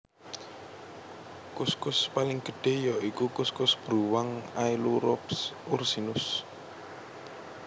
Kuskus paling gedhé ya iku kuskus bruwang Ailurops ursinus